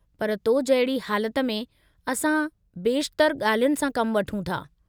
पर तो जहिड़ी हालति में, असां बेशितरु ॻाल्हियुनि सां कमु वठूं था।